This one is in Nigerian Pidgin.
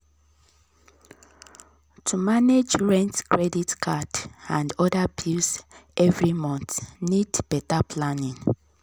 to manage rent credit card and other bills every month need better planning.